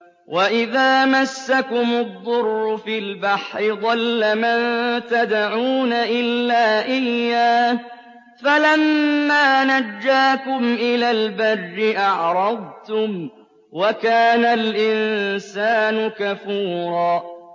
وَإِذَا مَسَّكُمُ الضُّرُّ فِي الْبَحْرِ ضَلَّ مَن تَدْعُونَ إِلَّا إِيَّاهُ ۖ فَلَمَّا نَجَّاكُمْ إِلَى الْبَرِّ أَعْرَضْتُمْ ۚ وَكَانَ الْإِنسَانُ كَفُورًا